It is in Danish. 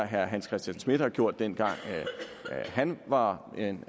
herre hans christian schmidt har gjort dengang han var